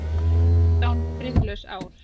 Fjórtán friðlaus ár.